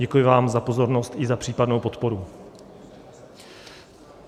Děkuji vám za pozornost i za případnou podporu.